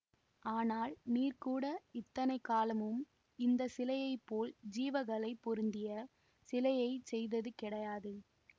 ஆனால் நீர் கூட இத்தனை காலமும் இந்த சிலையை போல் ஜீவ களை பொருந்திய சிலையை செய்தது கிடையாது